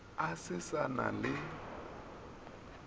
a se sa na le